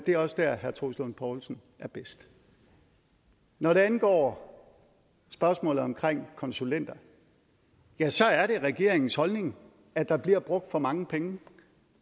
er også dér herre troels lund poulsen er bedst når det angår spørgsmålet omkring konsulenter ja så er det regeringens holdning at der bliver brugt for mange penge